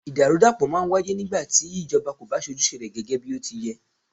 Ìdàrúdàpọ̀ máà ń wáyé nígbà tí ìjọba kò bá ṣe ojúṣe rẹ gẹgẹ bí ó ti yẹ́.